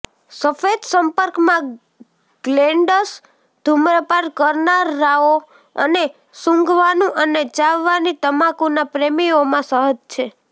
સફેદ સંપર્કમાં ગ્લૅન્ડ્સ ધુમ્રપાન કરનારાઓ અને સુંઘવાનું અને ચાવવાની તમાકુના પ્રેમીઓમાં સહજ છે